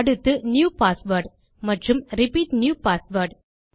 அடுத்து new password மற்றும் repeat new password